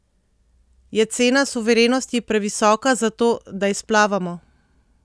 Je cena suverenosti previsoka za to, da izplavamo?